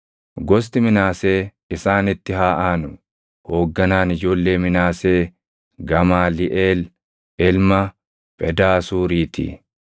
Gosti Minaasee isaanitti haa aanu. Hoogganaan ijoollee Minaasee Gamaaliʼeel ilma Phedaasuurii ti.